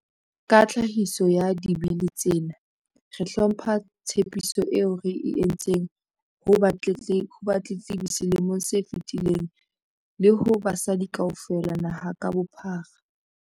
Ka tlhahiso ya Dibili tsena, re hlompha tshepiso eo re e entseng ho batletlebi selemong se fetileng le ho basadi kaofela naha ka bophara.